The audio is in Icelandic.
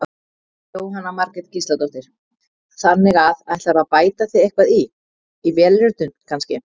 Jóhanna Margrét Gísladóttir: Þannig að ætlarðu að bæta þig eitthvað í, í vélritun kannski?